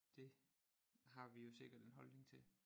Det har vi jo sikkert en holdning til